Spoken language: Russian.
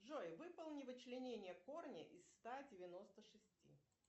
джой выполни вычленение корня из ста девяносто шести